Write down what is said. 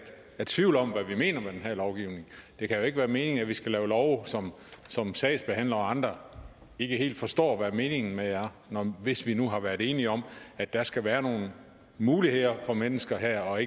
er tvivl om hvad vi mener med den her lovgivning det kan jo ikke være meningen at vi skal lave love som som sagsbehandlere og andre ikke helt forstår hvad meningen med er hvis vi nu har været enige om at der skal være nogle muligheder for mennesker her og